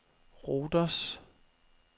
Rhodos